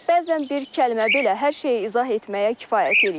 Bəzən bir kəlmə belə hər şeyi izah etməyə kifayət eləyir.